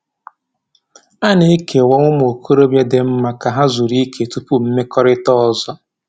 A na-ekewa ụmụ okorobịa dị mma ka ha zuru ike tupu mmekọrịta ọzọ.